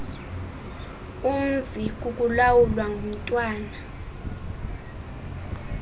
umzi kukulawulwa ngumntwana